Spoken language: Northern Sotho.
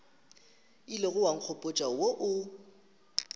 ilego wa nkgopotša wo o